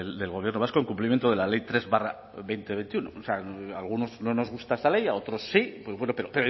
del gobierno vasco en cumplimiento de la ley tres barra dos mil veintiuno o sea a algunos no nos gusta esta ley a otros sí pues bueno pero